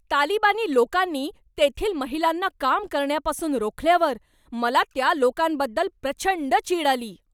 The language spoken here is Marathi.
तालिबानी लोकांनी तेथील महिलांना काम करण्यापासून रोखल्यावर मला त्या लोकांबद्दल प्रचंड चीड आली.